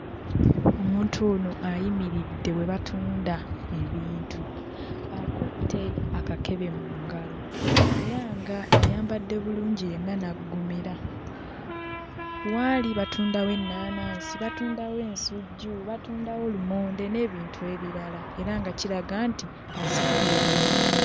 Omuntu ono ayimiridde we batunda ebintu. Akutte akakebe mu ngalo era ng'ayambadde bulungi yenna n'aggumira. We ali batundawo ennaanansi, batundawo ensujju, batundawo lumonde n'ebintu ebirala era nga kiraga nti azze kugula bintu.